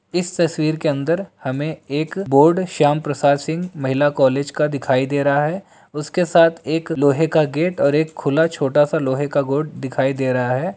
इस तस्वीर के अंदर हमें एक बोर्ड श्याम प्रसाद सिंह महिला कालेज का दिखाई दे रहा है उसके साथ एक लोहे का गेट और एक खुला छोटा सा लोहे का गोड दिखाई दे रहा है।